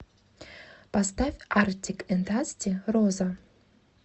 поставь артик энд асти роза